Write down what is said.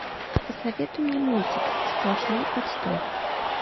посоветуй мне мультик сплошной отстой